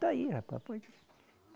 Está aí, rapaz. Pode